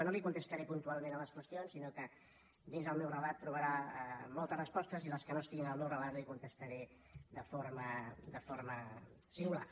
no li contestaré puntualment les qüestions sinó que dins el meu relat trobarà moltes respostes i les que no estiguin al meu relat les hi contestaré de forma singular